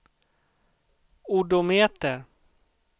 odometer